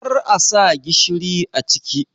kar a sa gishiri a ciki.!